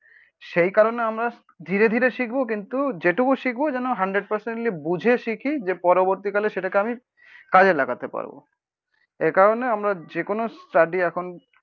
সেই কারণে আমরা ধীরে ধীরে শিখবো কিন্তু যেটুকু শিখবো যেন হান্ড্রেড পার্সেন্টলি বুঝে শিখি যে পরবর্তীকালে সেটাকে আমি কাজে লাগাতে পারবো। একারণে আমরা যে কোনো স্টাডি এখন